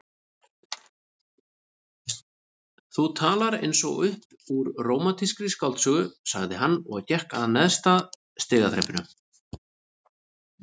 Þú talar eins og upp úr rómantískri skáldsögu sagði hann og gekk að neðsta stigaþrepinu.